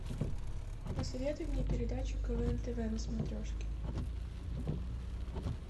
посоветуй мне передачу квн тв на смотрешке